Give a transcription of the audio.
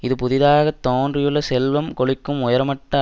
இது புதிதாக தோன்றியுள்ள செல்வம் கொழிக்கும் உயர்மட்ட